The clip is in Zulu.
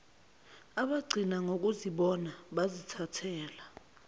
abagcina ngokuzibona zibathela